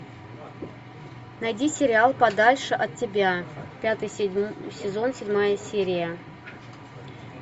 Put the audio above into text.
найди сериал подальше от тебя пятый сезон седьмая серия